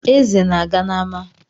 Eze ọ na-aga n’ama?